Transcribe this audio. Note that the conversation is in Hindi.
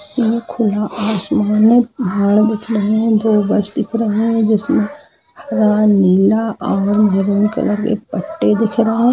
आंख खुला आसमान है पहाड़ दिख रहे हैं दो बस दिख रहे हैं जिसमें हरा नीला और मेहरून कलर के पत्ते दिख रहे हैं।